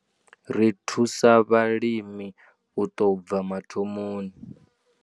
Ri thusa vhalimi u tou bva mathomoni.